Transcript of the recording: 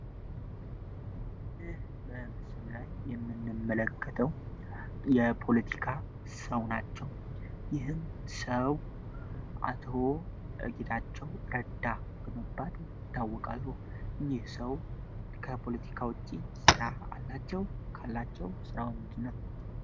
ይህ በምስሉ ላይ የምንመለከተው የፖለቲካ ሰው ናቸው። ይህም ሰው አቶዎ እግዳቸው ረዳ በመባል ሊታወቃሉ እኝህ ሰው ከፖለቲካ ውጪ ሥራ አላቸው? ካላቸው ሥራ ወምንጅ ነው?